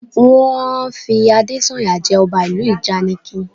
Wọ́n fi Adésànyà jẹ ọba ìlú ìjànikin